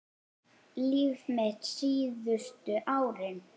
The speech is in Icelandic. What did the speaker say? Líf mitt síðustu árin.